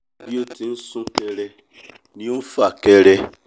bí ó ti ń sún kẹrẹ ni ó ń fà kẹrẹ